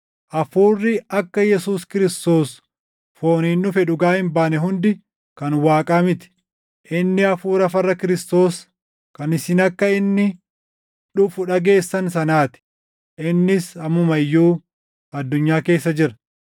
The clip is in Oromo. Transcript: hafuurri akka Yesuus Kiristoos fooniin dhufe dhugaa hin baane hundi kan Waaqaa miti. Inni hafuura farra Kiristoos, kan isin akka inni dhufu dhageessan sanaa ti; innis ammuma iyyuu addunyaa keessa jira.